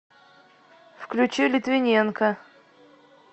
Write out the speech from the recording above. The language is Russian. включи литвиненка